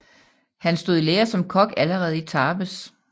Han blev stod i lære som kok allerede i Tarbes